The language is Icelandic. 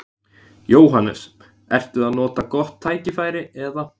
Jóhannes: Ertu að nota gott tækifæri eða?